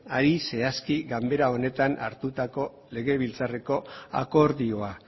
ari zehazki ganbara honetan hartutako legebiltzarreko akordioa